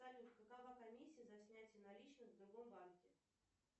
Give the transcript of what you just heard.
салют какова комиссия за снятие наличных в другом банке